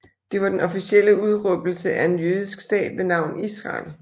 Det var den officielle udråbelse af en jødisk stat ved navn Israel